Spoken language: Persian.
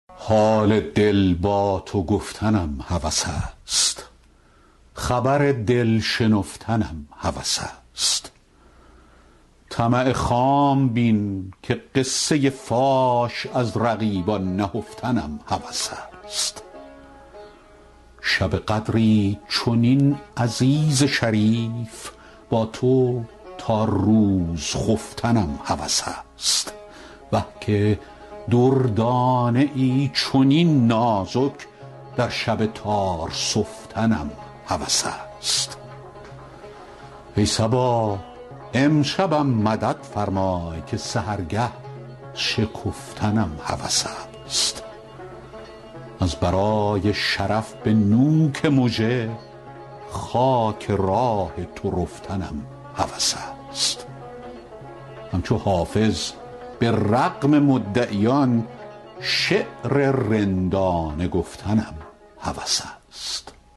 حال دل با تو گفتنم هوس است خبر دل شنفتنم هوس است طمع خام بین که قصه فاش از رقیبان نهفتنم هوس است شب قدری چنین عزیز شریف با تو تا روز خفتنم هوس است وه که دردانه ای چنین نازک در شب تار سفتنم هوس است ای صبا امشبم مدد فرمای که سحرگه شکفتنم هوس است از برای شرف به نوک مژه خاک راه تو رفتنم هوس است همچو حافظ به رغم مدعیان شعر رندانه گفتنم هوس است